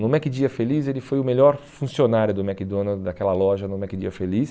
No McDia Feliz ele foi o melhor funcionário do McDonald's, daquela loja no McDia Feliz.